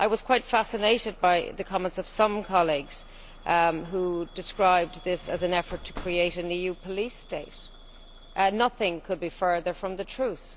I was quite fascinated by the comments of some colleagues who described this as an effort to create a new police state. Nothing could be further from the truth.